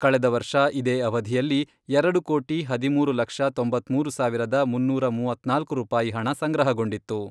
ಕಳೆದ ವರ್ಷ ಇದೇ ಅವಧಿಯಲ್ಲಿ ಎರಡು ಕೋಟಿ ಹದಿಮೂರು ಲಕ್ಷ ತೊಂಬತ್ಮೂರು ಸಾವಿರದ ಮುನ್ನೂರ ಮೂವತ್ನಾಲ್ಕು ರೂಪಾಯಿ ಹಣ ಸಂಗ್ರಹಗೊಂಡಿತ್ತು.